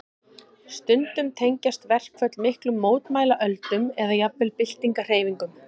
Stundum tengjast verkföll miklum mótmælaöldum eða jafnvel byltingarhreyfingum.